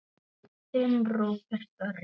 Þinn Róbert Orri.